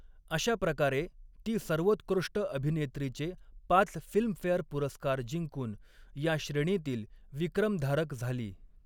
अशाप्रकारे ती सर्वोत्कृष्ट अभिनेत्रीचे पाच फिल्मफेअर पुरस्कार जिंकून या श्रेणीतील विक्रम धारक झाली.